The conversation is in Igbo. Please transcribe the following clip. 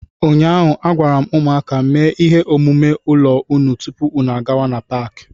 Ụnyaahụ, a gwara m ụmụaka, mee ihe omume ụlọ unu tupu unu gawa n'Paakị!